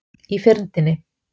Í fyrndinni.